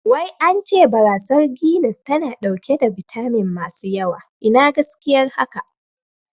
Wai ance barasar Guiness tana ɗauke da bitamin masu yawa, Ina gaskiyar haka?